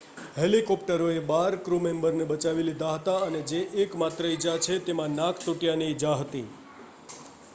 હેલિકોપ્ટરોએ બાર ક્રૂમેમ્બરને બચાવી લીધા હતા અને જે એકમાત્ર ઈજા છે તેમાં નાક તૂટ્યાંની ઈજા હતી